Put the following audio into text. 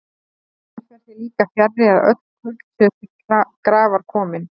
Enn fer því líka fjarri, að öll kurl séu til grafar komin.